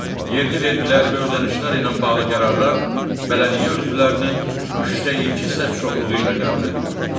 Yerli vergilər və ödənişlər ilə bağlı qərarlar bələdiyyə üzvlərinin üçdə iki səs çoxluğu ilə qəbul edilir.